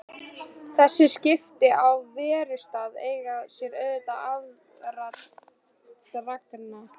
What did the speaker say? Þessi skipti á verustað eiga sér auðvitað aðdraganda.